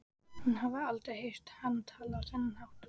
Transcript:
Hún hafði aldrei heyrt hann tala á þennan hátt.